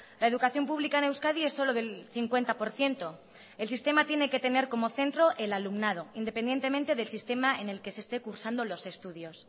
la educación pública en euskadi es solo del cincuenta por ciento el sistema tiene que tener como centro el alumnado independientemente del sistema en el que se este cursando los estudios